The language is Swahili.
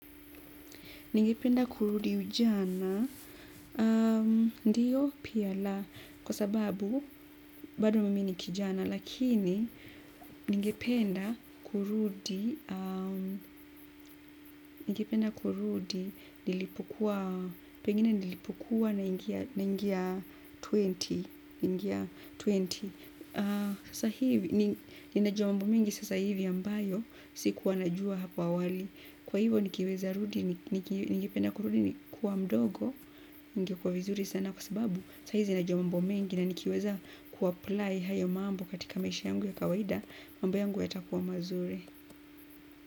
Ningependa kurudi ujana, ndiyo pia la, kwa sababu bado mimi ni kijana, lakini ningependa kurudi kurudi nilipokua, pengine nilipokua naingia ishirini. Sasa hivi ninajua mambo mengi sasa hivi ambayo sikuwa najua hapo awali kwa hivyo nikiweza rudi ningependa kurudi kuwa mdogo, ingekuwa vizuri sana kwa sababu, saa hizi ninajua mambo mengi na nikiweza kuapply haya mambo katika maisha yangu ya kawaida, mambo yangu yatakuwa mazuri.